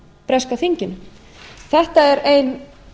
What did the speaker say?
breska þinginu þetta er ein